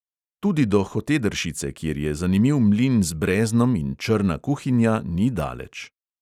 Tudi do hotedršice, kjer je zanimiv mlin z breznom in črna kuhinja, ni daleč.